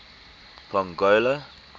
pongola